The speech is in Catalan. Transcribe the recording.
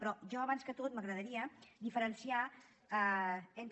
però a mi abans de tot m’agradaria diferenciar entre